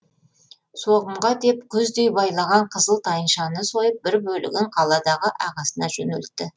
соғымға деп күздей байлаған қызыл тайыншаны сойып бір бөлігін қаладағы ағасына жөнелтті